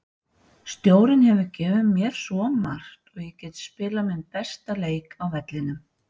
Stjórinn hefur gefið mér svo margt og ég get spilað minn besta leik á vellinum.